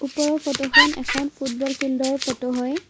ওপৰৰ ফটোখন এখন ফুটবল ফিল্ডৰ ফটো হয়।